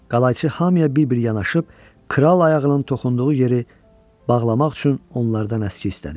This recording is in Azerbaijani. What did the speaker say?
Qalayçı hamıya bir-bir yanaşıb kral ayağının toxunduğu yeri bağlamaq üçün onlardan əski istədi.